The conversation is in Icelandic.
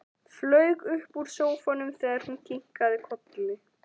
Flaug upp úr sófanum þegar hún kinkaði kolli.